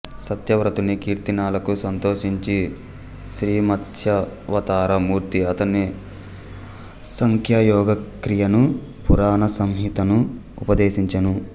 సత్య వ్రతుని కీర్తనలకు సంతోషించి శ్రీమత్స్యావతారమూర్తి అతనికి సాంఖ్యయోగ క్రియను పురాణ సంహితను ఉపదేశించెను